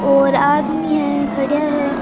और आदमी है खड़ा है।